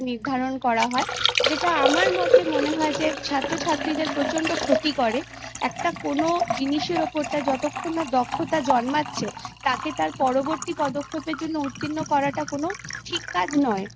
নির্ধারণ করা হয় যেটা আমার মতে মনে হয় যে ছাত্র ছাত্রীদের প্রচন্ড ক্ষতি করে একটা কোনো জিনিসের ওপর তার যতক্ষণ না দক্ষতা জন্মাচ্ছে তাকে তার পরবর্তী পদক্ষেপের জন্য উত্তীর্ণ করাটা কোনো ঠিক কাজ নয়